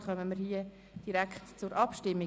Dann kommen wir direkt zur Abstimmung.